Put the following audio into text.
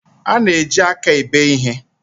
A na-eji aka ebu ihe